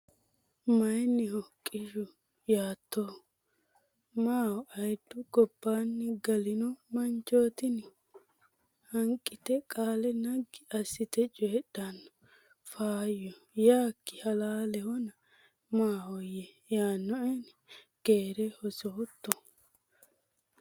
Mayinniho qishu? yaattahu? maaho ayiddu gobbaanni galino manchootini? Hanqite qaale naggi assite coydhanno Faayyo Yaakki halaalehona, maahoyye yaannoeni? Keere hositto?